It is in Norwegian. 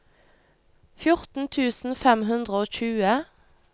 fjorten tusen fem hundre og tjue